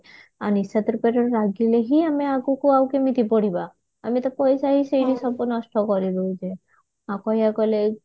ଆଉ ନିଶା ଦ୍ରବ୍ୟରେ ଲାଗିଲେ ହିଁ ଆମେ ଆଗକୁ ଆଉ କେମିତି ବଢିବା ଆମେ ତ ପଇସା ହିଁ ସେଇଠି ସବୁ ନଷ୍ଟ କରିଦଉଛେ ଆଉ କହିବାକୁ ଗଲେ